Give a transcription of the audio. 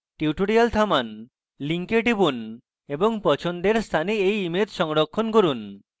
tutorial থামান link টিপুন এবং পছন্দের স্থানে এই ইমেজ সংরক্ষণ করুন